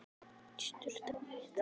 Ég rauk í sturtu á methraða.